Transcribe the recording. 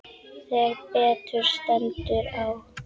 Þegar betur stendur á